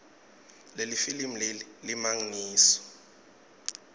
lelifilimu leli alimagniso